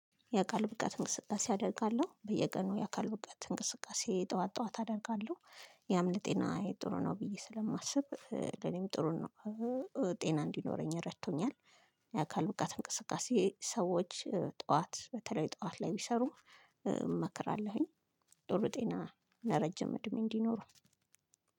የአካል ብቃት እንቅስቃሴ አደርጋለሁ በየቀኑ የአካል ብቃት እንቅስቃሴ ጠዋት ጠዋት አደርጋለሁ ያም ለጤና ጥሩ ነው ብዬ ስለማስብ ለኔም ጥሩ ነው። ጤና እንዲኖረኝ ረቶኛል። የአካል ብቃት እንቅስቃሴ ሰዎች ጠዋት በተለይ ጠዋት ላይ ቢሰሩ እመክራለሁኝ። ዶሎ ጤና ለረጅም እድሜ እንዲኖር